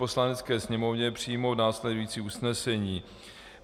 Poslanecké sněmovně přijmout následující usnesení: